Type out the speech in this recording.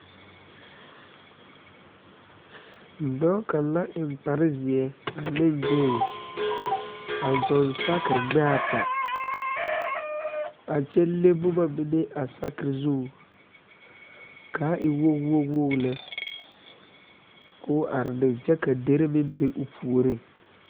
Dɔɔ kaŋ la eŋ kpar zeɛ ane kuree a zɔɔ saakere gbɛɛ ata a kyɛ leŋ boma mine a sakere zu